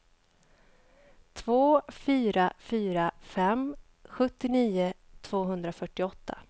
två fyra fyra fem sjuttionio tvåhundrafyrtioåtta